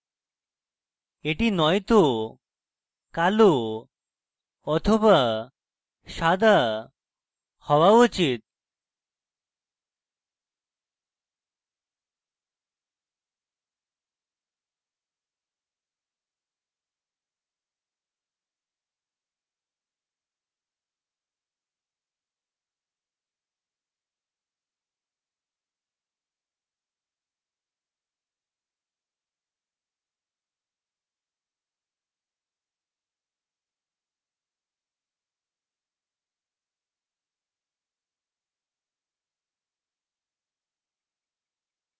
এটি নয়তো কালো be সাদা হওয়া উচিত